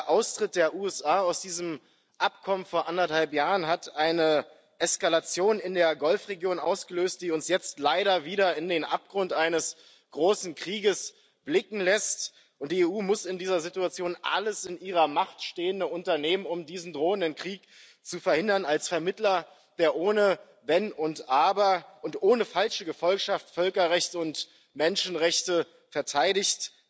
Der Austritt der USA aus diesen Abkommen vor anderthalb Jahren hat eine Eskalation in der Golfregion ausgelöst, die uns jetzt leider wieder in den Abgrund eines großen Krieges blicken lässt. Die EU muss in dieser Situation alles in ihrer Macht Stehende unternehmen, um diesen drohenden Krieg zu verhindern als Vermittlerin, die ohne Wenn und Aber und ohne falsche Gefolgschaft Völkerrecht und Menschenrechte verteidigt.